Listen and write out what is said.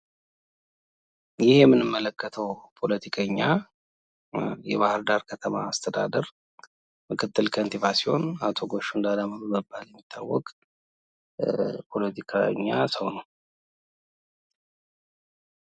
ይህ የምንመለከተው ፖለቲከኛ የባህር ዳር ከተማ አስተዳደር ምክትል ከንቲባ ሲሆን አቶ ጎሹ እንዳላማው በመባል የሚታወቅ ፖለቲከኛ ሰው ነው።